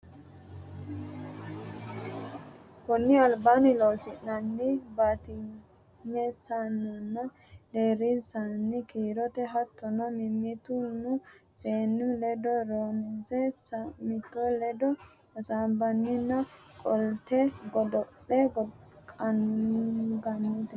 konni albaanni Loossinanni batinyisaanonna deerrisaano kiiro hattono mimmiti ne su mi ledaano ronse sa noommoti ledo hasaabbinanni Qolleete Godo le qaangannite.